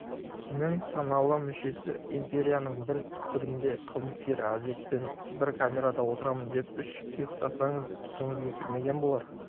нің саналы мүшесі империяның бір түкпірінде қылмыскер азиатпен бір камерада отырамын деп үш ұйықтасаңыз түсіңізге кірмеген болар